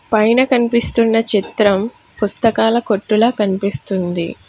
పైన కనిపిస్తున్న చిత్రం పుస్తకాల కొట్టుల కనిపిస్తుంది.